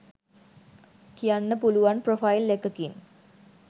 කියන්න පුළුවන් ප්‍රොෆයිල් එකකින්.